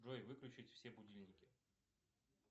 джой выключить все будильники